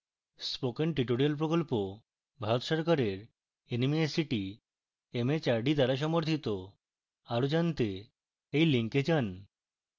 spoken tutorial প্রকল্প ভারত সরকারের nmeict mhrd দ্বারা সমর্থিত আরো জনাতে এই লিঙ্কে যান